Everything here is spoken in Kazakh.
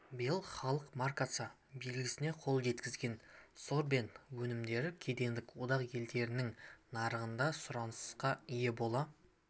биыл халық маркасы белгісіне қол жеткізген сорбент өнімдері кедендік одақ елдерінің нарығында да сұранысқа ие бола